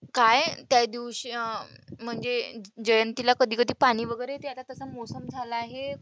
काय त्यादिवशी अं म्हणजे जयंतीला कधी कधी पाणी वगैरे येते आता त्याचा मौसम झाला आहे.